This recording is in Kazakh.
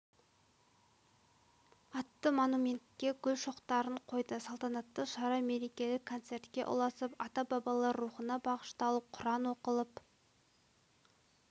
атты монументке гүл шоқтарын қойды салтанатты шара мерекелік концертке ұласып ата-бабалар рухына бағышталып құран оқылып